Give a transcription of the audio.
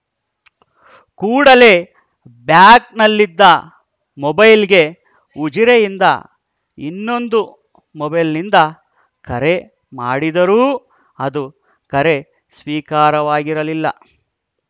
ಕೂಡಲೇ ಬ್ಯಾಗ್‌ನಲ್ಲಿದ್ದ ಮೊಬೈಲ್‌ಗೆ ಉಜಿರೆಯಿಂದ ಇನ್ನೊಂದು ಮೊಬೈಲ್‌ನಿಂದ ಕರೆ ಮಾಡಿದರೂ ಅದು ಕರೆ ಸ್ವೀಕಾರವಾಗಿರಲಿಲ್ಲ